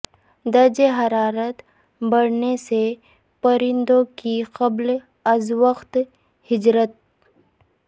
درجہ حرارت بڑھنے سے پرندوں کی قبل ازوقت ہجرت